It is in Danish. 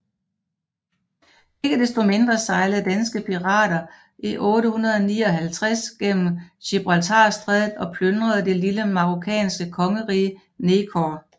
Ikke desto mindre sejlede danske pirater i 859 igennem Gibraltarstrædet og plyndrede det lille marokkanske kongerige Nekor